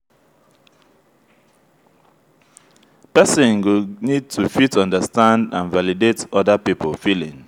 person go need to fit understand and validate oda pipo feelings